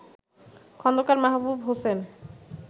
Khandakar Mahbub Hossain